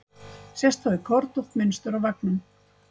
Sést þá kornótt mynstur á veggnum.